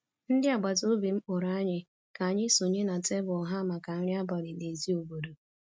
ndị agbata obi m kpọrọ anyị ka anyị sonye na tebụl ha maka nri abalị n'èzí obodo